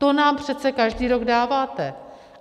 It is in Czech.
To nám přece každý rok dáváte!